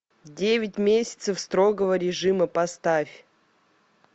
девять месяцев строгого режима поставь